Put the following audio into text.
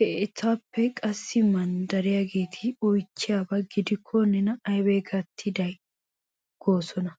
He iitaappe qassi manddariyageeti oychchiyaba gidikko nena aybee gattiday goosona.